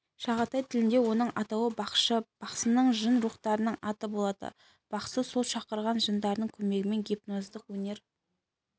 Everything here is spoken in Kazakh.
шағатай тілінде оның атауы бақшы бақсының жын-рухтарының аты болады бақсы сол шақырған жындарының көмегімен гипноздық өнер